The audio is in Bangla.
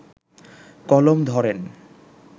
কলম ধরেন